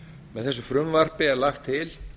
með þessu frumvarpi er lagt til